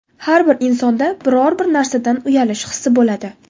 Har bir insonda biror-bir narsadan uyalish hissi bo‘ladi.